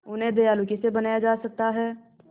उन्हें दयालु कैसे बनाया जा सकता है